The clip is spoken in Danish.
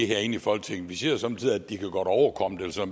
herinde i folketinget vi siger somme tider at de godt kan overkomme det